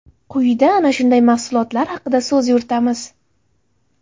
Quyida ana shunday mahsulotlar haqida so‘z yuritamiz.